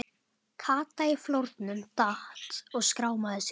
Kata í flórnum, datt og skrámaði sig.